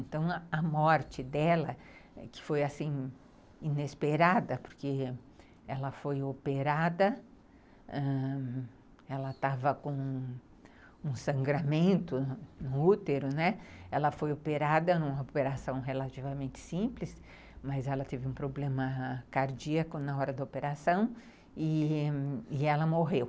Então, a morte dela, que foi inesperada, porque ela foi operada, ãh, ela estava com um sangramento no útero, né, ela foi operada em uma operação relativamente simples, mas ela teve um problema cardíaco na hora da operação e ãh e ela morreu.